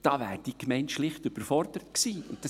Da wäre die Gemeinde schlicht überfordert gewesen.